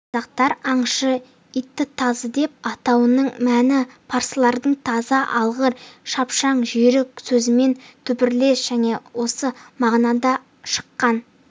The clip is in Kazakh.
қазақтар аңшы иттітазыдеп атауының мәні парсылардың таза алғыр шапшаң жүйрік сөзімен түбірлес және осы мағынадан шыққан